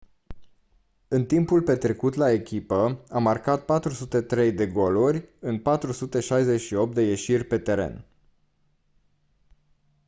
în timpul petrecut la echipă a marcat 403 de goluri în 468 de ieșiri pe teren